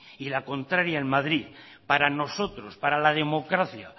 y la contraria en madrid para nosotros para la democracia